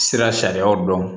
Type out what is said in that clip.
Sira sariyaw dɔn